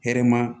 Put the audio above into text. Hɛrɛ ma